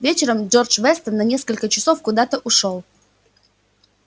вечером джордж вестон на несколько часов куда-то ушёл